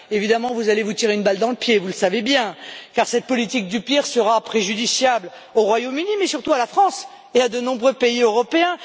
Évidemment, vous allez vous tirer une balle dans le pied, vous le savez bien, car cette politique du pire sera préjudiciable non seulement au Royaume Uni, mais surtout à la France et à de nombreux pays européens.